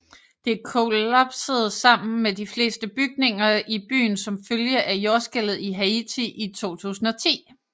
Det kollapsede sammen med de fleste bygninger i byen som følge af Jordskælvet i Haiti i 2010